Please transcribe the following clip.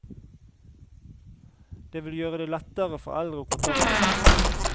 Det vil gjøre det lettere for eldre å kontakte oss.